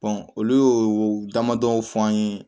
olu y'o damadɔ fɔ an ye